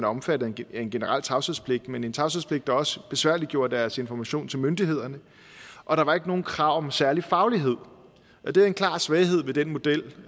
omfattet af en generel tavshedspligt men en tavshedspligt der også besværliggjorde deres information til myndighederne og der var ikke nogen krav om en særlig faglighed det var en klar svaghed ved den model